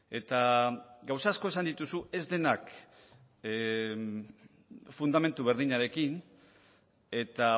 eta gauza asko esan dituzu ez denak fundamentu berdinarekin eta